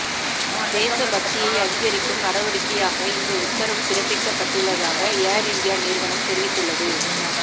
தேசபக்தியை அதிகரிக்கும் நடவடிக்கையாக இந்த உத்தரவு பிறப்பிக்கப்பட்டுள்ளதாக ஏர் இந்தியா நிறுவனம் தெரிவித்துள்ளது